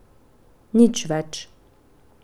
Nič več.